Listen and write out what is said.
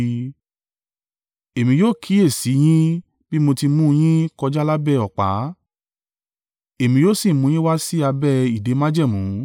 Èmi yóò kíyèsi i yín bí mo ti mú un yín kọjá lábẹ́ ọ̀pá, èmi yóò sì mú yín wá sí abẹ́ ìdè májẹ̀mú.